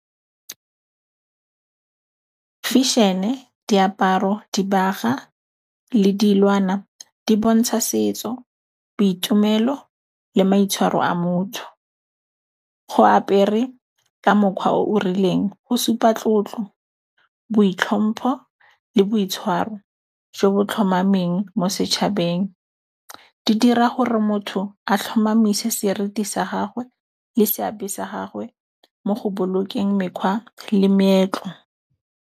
Fešhene, diaparo, dibaga le dilwana di bontsha setso, boitumelo le maitshwaro a motho. Go apere ka mokgwa o o rileng go supa tlotlo, boitlhompho le boitshwaro jo bo tlhomameng mo setšhabeng. Di dira gore motho a tlhomamise seriti sa gagwe le seabe sa gagwe mo go bolokeng mekgwa le meetlo.